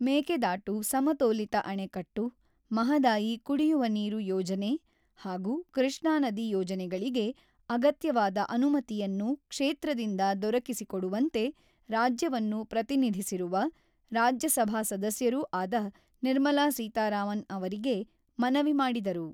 ಮೇಕೆದಾಟು ಸಮತೋಲಿತ ಅಣೆಕಟ್ಟು, ಮಹದಾಯಿ ಕುಡಿಯುವ ನೀರು ಯೋಜನೆ ಹಾಗೂ ಕೃಷ್ಣಾ ನದಿ ಯೋಜನೆಗಳಿಗೆ ಅಗತ್ಯವಾದ ಅನುಮತಿಯನ್ನು ಕ್ಷೇತ್ರದಿಂದ ದೊರಕಿಸಿಕೊಡುವಂತೆ ರಾಜ್ಯವನ್ನು ಪ್ರತಿನಿಧಿಸಿರುವ, ರಾಜ್ಯಸಭಾ ಸದಸ್ಯರೂ ಆದ ನಿರ್ಮಲಾ ಸೀತಾರಾಮನ್ ಅವರಿಗೆ ಮನವಿ ಮಾಡಿದರು.